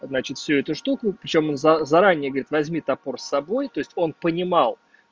значит всё эту штуку причём он за заранее говорит возьми топор с собой то есть он понимал